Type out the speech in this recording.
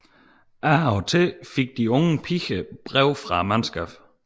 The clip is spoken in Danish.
Af og til fik de unge piger brev fra mandskabet